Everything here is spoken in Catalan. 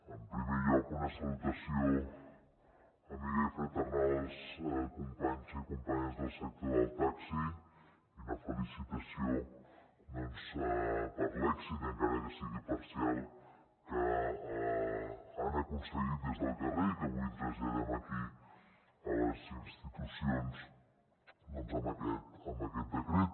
en primer lloc una salutació amiga i fraternal als companys i companyes del sector del taxi i una felicitació doncs per l’èxit encara que sigui parcial que han aconseguit des del carrer i que avui traslladem aquí a les institucions amb aquest decret